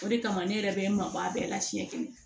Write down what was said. O de kama ne yɛrɛ bɛ n mabɔ a bɛɛ la siɲɛ kelen